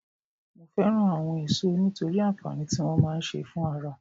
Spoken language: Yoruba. Mo fẹ́ràn àwọn èso nítorí àǹfààní tí wọ́n máa ń ṣe fún ara